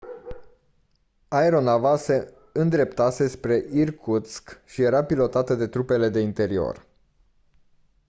aeronava se îndreptase spre irkutsk și era pilotată de trupele de interior